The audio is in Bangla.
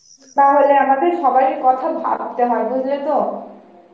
তাহলে, আমাদের সবাইয়ের কথা ভাবতে হয় বুজলে তো